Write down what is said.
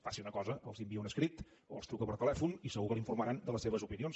faci una cosa els envia un escrit o els truca per telèfon i segur que l’informaran de les seves opinions